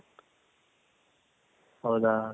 ಹೌದ